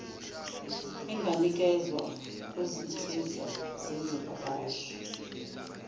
enganikezwa kuzinsiza zezivakashi